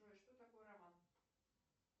джой что такое роман